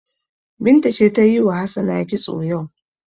Binta ce ta yi wa Hassana kitso yau.